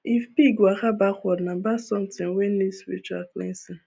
if pig waka backward nah bad something wey need spiritual cleansing